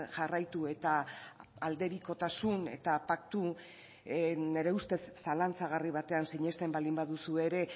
jarraitu eta aldebikotasun eta paktu nire ustez zalantzagarri batean sinesten baldin baduzu ere